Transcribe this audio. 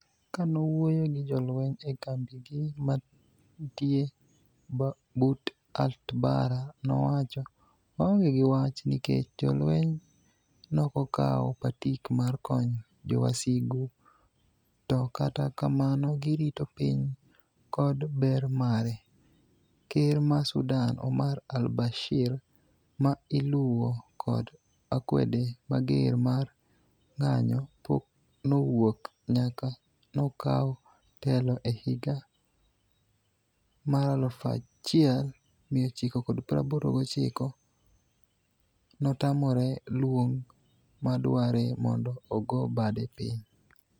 Kanowuoyo gi jolweny ekambigi mantie but Atbara nowacho,"waonge gi wach nikech jolweny nokokao patik mar konyo jowasigu to kata kamano girito piny kod ber mare" Ker ma Sudan Omar al-Bashir ma iluwo kod akwede mager mar ng'anyo pok nowuok nyaka nokaw telo ehiga 1989 notamore luong madware mondo ogo bade piny.